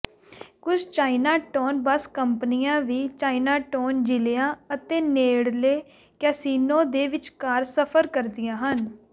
ਕੁਝ Chinatown bus ਕੰਪਨੀਆਂ ਵੀ ਚਾਈਨਾਟੌਨ ਜ਼ਿਲਿਆਂ ਅਤੇ ਨੇੜਲੇ ਕੈਸੀਨੋ ਦੇ ਵਿਚਕਾਰ ਸਫ਼ਰ ਕਰਦੀਆਂ ਹਨ